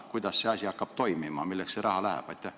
Kuidas see asi toimima hakkab – milleks see raha läheb?